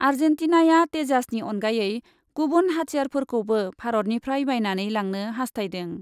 आर्जेन्टिनाया तेजासनि अनगायै गुबुन हाथियारफोरखौबो भारतनिफ्राय बायनानै लांनो हास्थायदों ।